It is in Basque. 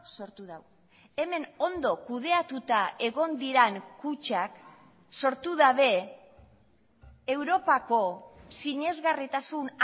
sortu du hemen ondo kudeatuta egon diren kutxak sortu dabe europako sinesgarritasun